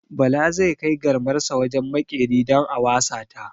Bala zai kai garmarsa wajen maƙeri don a wasa ta.